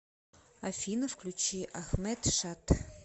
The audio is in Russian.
афина включи ахмед шад